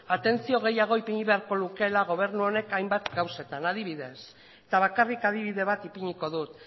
atentzio gehiago ipini beharko lukeela gobernu honek hainbat gauzetan adibidez eta bakarrik adibide bat ipiniko dut